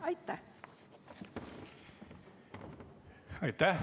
Aitäh!